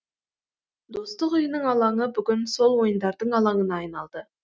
достық үйінің алаңы бүгін сол ойындардың алаңына айналды